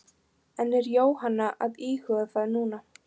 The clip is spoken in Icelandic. En er Jóhanna að íhuga það núna?